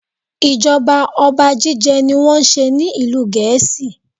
Ijọba ọba jíjẹ ní wọ́n n ṣe ní ìlú Gèésì.